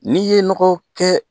N'i ye nɔgɔ kɛ